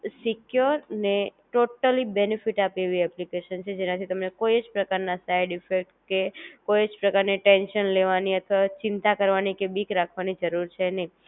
secure ને totally benefit આપે એવી એપ્લિકેશન છે જેના થી તમને કોઈ જ પ્રકાર ના સાઇડ ઇફેક્ટ કે કોઈ જ પ્રકાર ની ટેન્શન લેવાની અથવા ચિંતા કરવાની કે બીક રાખવાની જરૂર છે નહિ